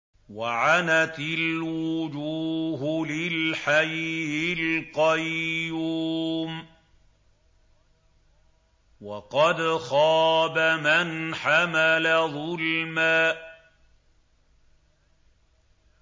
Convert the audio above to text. ۞ وَعَنَتِ الْوُجُوهُ لِلْحَيِّ الْقَيُّومِ ۖ وَقَدْ خَابَ مَنْ حَمَلَ ظُلْمًا